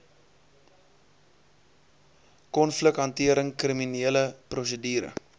konflikhantering kriminele prosedure